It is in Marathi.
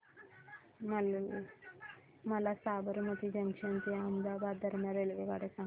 मला साबरमती जंक्शन ते अहमदाबाद दरम्यान रेल्वेगाड्या सांगा